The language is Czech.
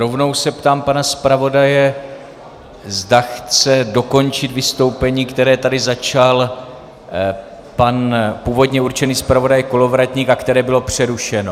Rovnou se ptám pana zpravodaje, zda chce dokončit vystoupení, které tady začal pan původně určený zpravodaj Kolovratník a které bylo přerušeno.